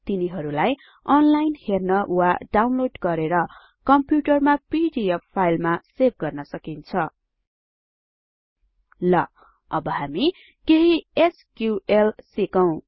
तिनीहरुलाई online हेर्न वा download गरेर कम्प्युटरमा पीडीएफ फाइलमा सेभ गर्न सकिन्छ ल अब हामी केही एसक्यूएल सिकौं